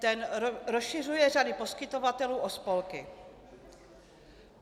Ten rozšiřuje řady poskytovatelů o spolky.